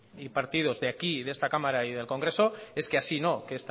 y partidos de esta cámara y del congreso es que así no que